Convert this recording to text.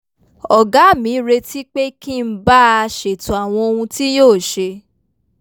ọ̀gá mi retí pé kí n bá a ṣètò àwọn ohun tí yóò ṣe